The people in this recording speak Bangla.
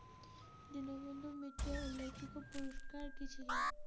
দীনবন্ধু মিত্রের উল্লেখযোগ্য পুরষ্কার কী ছিল?